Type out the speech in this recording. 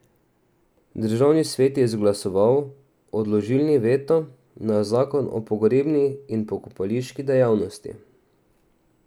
Državni svet je izglasoval odložilni veto na zakon o pogrebni in pokopališki dejavnosti.